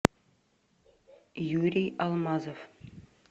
юрий алмазов